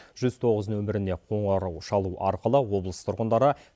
жүз тоғыз нөміріне қоңырау шалу арқылы облыс тұрғындары